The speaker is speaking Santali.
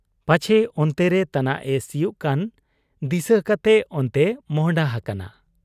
ᱯᱟᱪᱷᱮ ᱚᱱᱛᱮᱨᱮ ᱛᱟᱱᱟᱜ ᱮ ᱥᱤᱭᱩᱜ ᱠᱟᱱ ᱫᱤᱥᱟᱹ ᱠᱟᱛᱮ ᱚᱱᱛᱮᱭ ᱢᱚᱸᱦᱰᱟ ᱦᱟᱠᱟᱱᱟ ᱾